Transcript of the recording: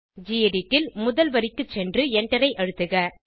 gedit ல் முதல் வரிக்கு சென்று எண்டரை அழுத்துக